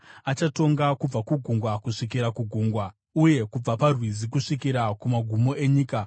Achatonga kubva kugungwa kusvikira kugungwa, uye kubva paRwizi kusvikira kumagumo enyika.